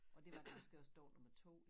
Og det var det faktisk også dag nummer 2